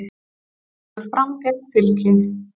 Stórsigur Fram gegn Fylki